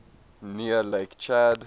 near lake chad